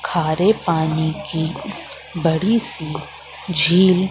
खारे पानी की बड़ी सी झील--